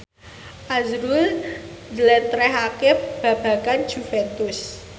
azrul njlentrehake babagan Juventus